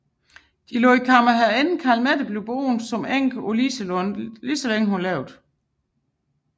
De lod kammerherreinde Calmette blive boende som enke på Liselund så længe hun levede